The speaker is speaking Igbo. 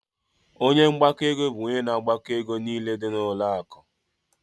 Ọnye mgbako ego bụ ónyé na agbako égo niile dị na ụlọ akụ.